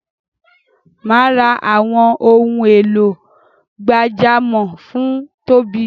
Mà á ra àwọn ohun èlò gbàjámọ̀ fún Tóbi.